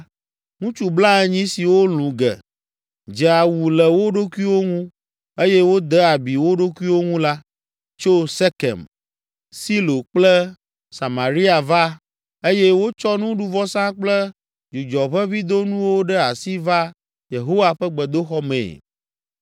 ŋutsu blaenyi siwo lũ ge, dze awu le wo ɖokuiwo ŋu eye wode abi wo ɖokuiwo ŋu la, tso Sekem, Silo kple Samaria va eye wotsɔ nuɖuvɔsa kple dzudzɔʋeʋĩdonuwo ɖe asi va Yehowa ƒe gbedoxɔ mee.